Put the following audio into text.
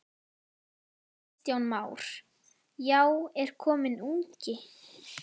Kristján Már: Já, er kominn ungi?